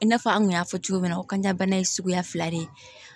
I n'a fɔ an kun y'a fɔ cogo min na kan bana ye suguya fila de ye